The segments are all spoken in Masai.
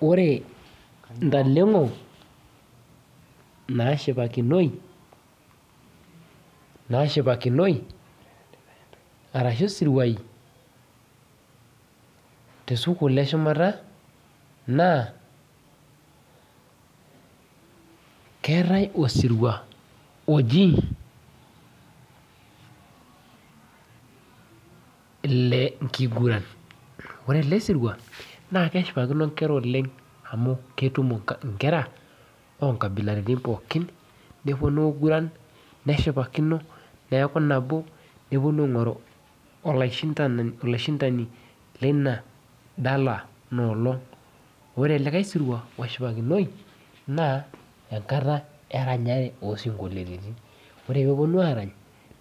Ore intaleng'o nashipakinoi, nashipakinoi arashu isiruai tesukuul eshumata naakeetae osirua oji ilenkiguran ore ele sirua naa keshipakino inkera oleng amu ketumo inkera onkabilaritin pookin neponu aiguran neshipakino neeku nabo neponu aingoru olaishindani leina dala ina olong ore likae sirua oshipakinoi naa enkata eranyare osinkoliotin ore peponu arany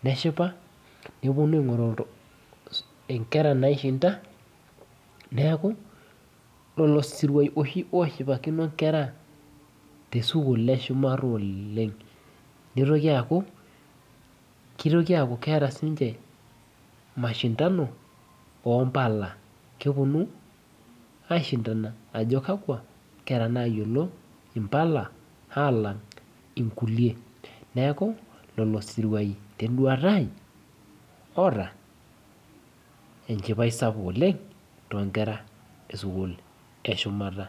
neshipa neponu aing'oru iltu inkera naishinda neeku lolo siruai oshi oshipakino inkera tesukul eshumata oleng nitoki aaku kitoki aaku keeta sinche mashindano ompala keponu aishindana ajo kakwa nayiolo impala alang inkulie neeku lolo siruai tenduata ai oota enchipai sapuk oleng tonkera esukul eshumata.